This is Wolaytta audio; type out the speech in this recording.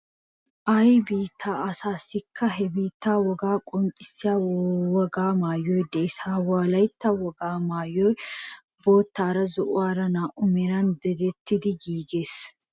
Ay biittaa asaassikka he biittaa wogaa qonccissiya wogaa maayoy de'ees. Ha wolaytta wogaa maayoy bottaara zo'uwara na"u meran dadettidi giigees.